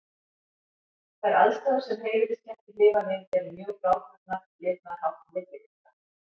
Þær aðstæður sem heimiliskettir lifa við eru mjög frábrugðnar lifnaðarháttum villikatta.